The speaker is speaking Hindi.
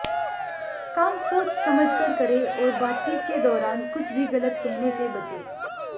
काम सोच समझकर करें और बातचीत के दौरान कुछ भी गलत कहने से बचें